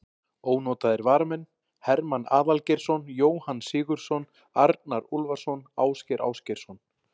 Ónotaðir varamenn: Hermann Aðalgeirsson, Jóhann Sigurðsson, Arnar Úlfarsson, Ásgeir Ásgeirsson.